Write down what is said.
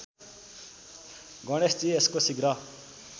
गणेशजी यसको शीघ्र